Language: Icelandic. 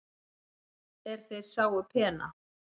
er þeir sáu pena